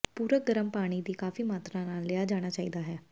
ਪੂਰਕ ਗਰਮ ਪਾਣੀ ਦੀ ਕਾਫੀ ਮਾਤਰਾ ਨਾਲ ਲਿਆ ਜਾਣਾ ਚਾਹੀਦਾ ਹੈ